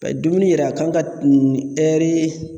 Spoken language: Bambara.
dumuni yɛrɛ a kan ka ɛri.